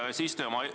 Hea eesistuja!